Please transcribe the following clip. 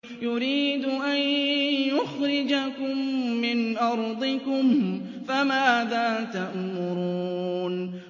يُرِيدُ أَن يُخْرِجَكُم مِّنْ أَرْضِكُمْ ۖ فَمَاذَا تَأْمُرُونَ